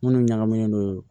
Minnu ɲagaminen don